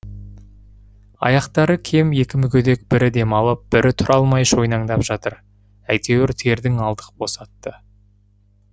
аяқтары кем екі мүгедек бірі демалып бірі тұра алмай шойнаңдап жатып әйтеуір тердің алдық босатты